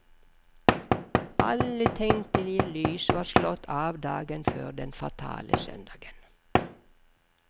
Alle tenkelige lys var slått av dagen før den fatale søndagen.